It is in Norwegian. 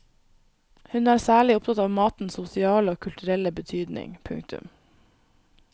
Hun er særlig opptatt av matens sosiale og kulturelle betydning. punktum